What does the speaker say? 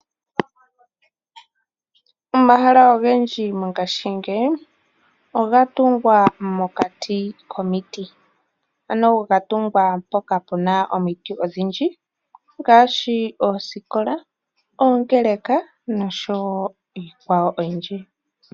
Omahala ogendji mongaashingeyi ogatungwa mokati komiti, ano gatungwa mpoka puna omiti odhindji ngaashi, oosikola, oongeeleka noshowo iikwawo oyindji.